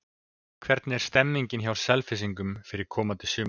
Hvernig er stemmingin hjá Selfyssingum fyrir komandi sumar?